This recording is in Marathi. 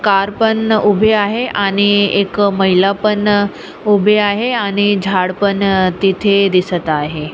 कार पण उभी आहे आणि एक महिला पण उभी आहे आणि झाड पण तिथे दिसत आहे.